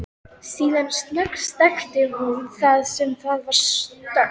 Síðan snöggsteikti hún það svo það varð stökkt.